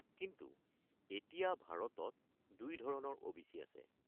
কিন্তু এতিয়া ভাৰতত দুই ধৰণৰ ও.বি.চি. আছে।